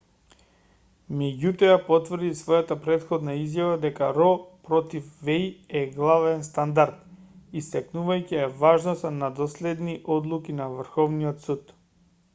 меѓутоа ја потврди својата претходна изјава дека ро против веј е главен стандард истакнувајќи ја важноста на доследни одлуки на врховниот суд